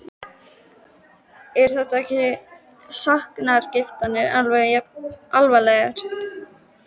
Eru ekki sakargiftirnar alveg jafn alvarlegar?